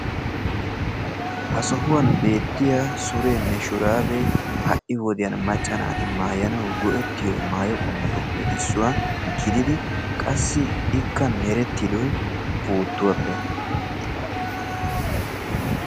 Ha sohuwaan beettiyaa surenne shuraabee ha'i wodiyaan macca naati maayanawu go'ettiyoo maayo qommotupe issuwaa gididi qassi ikka merettidoy puuttuwaappe.